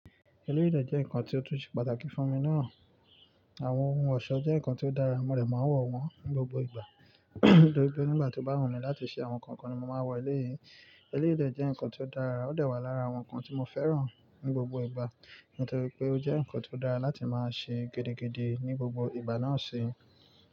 Eleyi de jẹ́ nǹkan tí ó tún ṣe pàtàkì fún mi náà. Àwọn ohun ọ̀ṣọ́ jẹ́ nǹkan tí ó dára, mo rẹ̀ máa ń wọ̀ wọ́n ní gbogbo ìgbà. Nitori pe nígbà tó bá wù mí láti ṣe àwọn nǹkan kan ni mo máa n wọ eléyii. Eleyi de jẹ́ nǹkan tí ó dára, ó de wà lára àwọn nǹkan tí mo fẹ́ràn ní gbogbo ìgbà, nítorí pé ó jẹ́ nǹkan tí ó dára láti máa ṣe gidigidi ní gbogbo ìgbà náà ṣi.